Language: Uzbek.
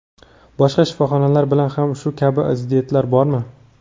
Boshqa shifoxonalar bilan ham shu kabi ziddiyatlar bormi?